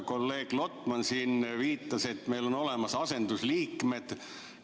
Kolleeg Lotman siin viitas, et meil on olemas asendusliikmed.